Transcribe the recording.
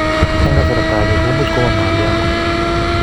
Eng' kasarta age komuch koma mole akot